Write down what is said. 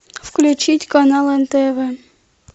включить канал нтв